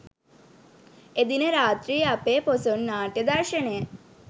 එදින රාත්‍රියේ අපේ පොසොන් නාට්‍ය දර්ශනය